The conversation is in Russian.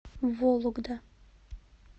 вологда